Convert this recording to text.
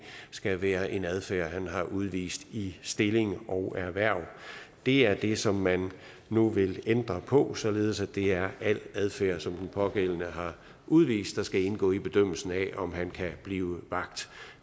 skal være en adfærd han har udvist i stilling og erhverv det er det som man nu vil ændre på således at det er al adfærd som den pågældende har udvist der skal indgå i bedømmelsen af om han kan blive vagt